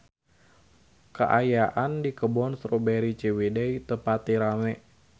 Kaayaan di Kebun Strawberry Ciwidey teu pati rame